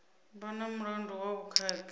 vha na mulandu wa vhukhakhi